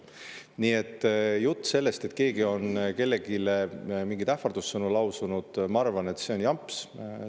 Nii et jutt sellest, et keegi on kellelegi mingeid ähvardussõnu lausunud – ma arvan, et see on jamps.